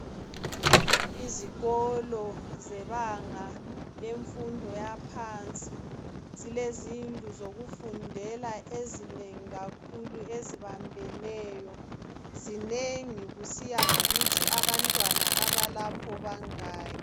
Izikolo zebanga lemfundo yaphansi zilezindlu zokufundela ezinengi kakhulu ezibambeneyo. Zinengi kusiya ngokuthi abantwana abalapho bangaki.